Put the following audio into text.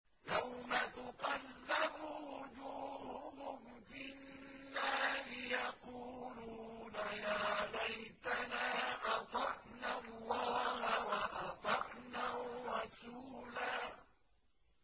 يَوْمَ تُقَلَّبُ وُجُوهُهُمْ فِي النَّارِ يَقُولُونَ يَا لَيْتَنَا أَطَعْنَا اللَّهَ وَأَطَعْنَا الرَّسُولَا